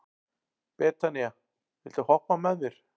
Betanía, viltu hoppa með mér?